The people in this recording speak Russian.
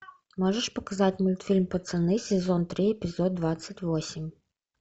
можешь показать мультфильм пацаны сезон три эпизод двадцать восемь